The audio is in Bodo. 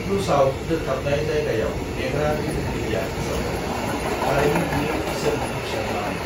"ख्रुसाव दोखथाबनाय जायगायाव नेग्रा बिथोनगिरिया फोसावदों, "थारैनो बियो ईसोरनि फिसाज्लामोन!"